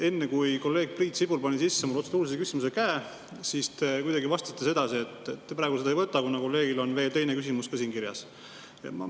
Enne kui kolleeg Priit Sibul lülitas sisse protseduurilise küsimuse käe, te ütlesite kuidagi sedasi, et te praegu seda ei võta, kuna kolleegil on veel teine küsimus ka siin kirjas.